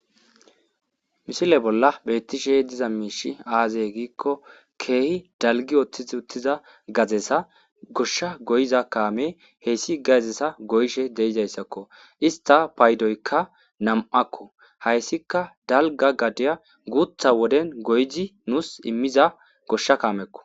mishile bolla beettishe diza miishi aazey giikko keehi dalgi ooththiz uttiza gazesa goshsha goyiza kaame heyssi gazesa goyshe deizayssakko ista paaydoykka nam7akko hayssika dalga gaddeya guutha woden goyzi nuus immiza goshsha kaamekko